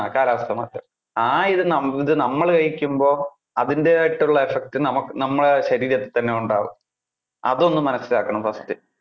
ആ കാലാവസ്ഥ മാറ്റം. ആ ഇത് നം~ നമ്മള് കഴിക്കുമ്പോൾ അതിന്‍ടെതായിട്ടുള്ള effect നമുക്ക് നമ്മുടെ ശരീരത്തിൽ തന്നെ ഉണ്ടാകും. അതൊന്നു മനസിലാക്കണം first